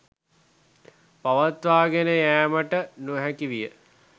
පවත්වාගෙන යෑමට නොහැකි විය